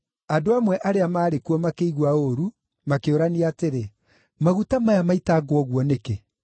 Andũ amwe arĩa maarĩ kuo makĩigua ũũru, makĩũrania atĩrĩ, “Maguta maya maitangwo ũguo nĩkĩ?